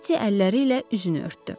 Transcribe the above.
Eti əlləri ilə üzünü örtdü.